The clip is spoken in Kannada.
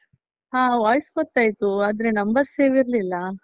ಹಾ, voice ಗೊತ್ತಾಯ್ತು, ಆದ್ರೆ number save ಇರ್ಲಿಲ್ಲ.